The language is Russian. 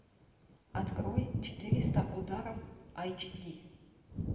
открой четыреста ударов айч ди